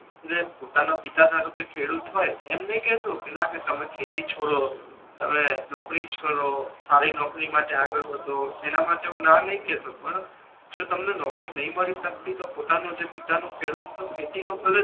એટલે પોતાના પિતા ધારોકે ખેડૂત હોય એમ નથી કેતો કે ના કે તમે ખેતી છોડો હવે નોકરી જ કરો સારી નોકરી માટે આગળ વધો એના માટે હુ ના નથી કેતો પણ જો તમને નોકરી નહી મળી સકતી તો પોતાનો જે પિતા નો ખેડૂત નો ખેતી નો ભલે